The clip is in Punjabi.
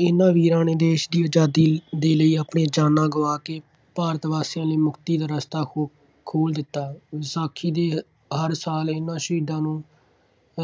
ਇਹਨਾ ਵੀਰਾਂ ਨੇ ਦੇਸ਼ ਦੀ ਆਜ਼ਾਦੀ ਦੇ ਲਈ ਆਪਣੀ ਜਾਨਾਂ ਗੁਆ ਕੇ ਭਾਰਤ ਵਾਸੀਆਂ ਲਈ ਮੁਕਤੀ ਦਾ ਰਸਤਾ ਖੋ~ ਖੋਲ੍ਹ ਦਿੱਤਾ। ਵਿਸਾਖੀ ਦੇ ਹਰ ਸਾਲ ਇਹਨਾ ਸ਼ਹੀਦਾਂ ਨੂੰ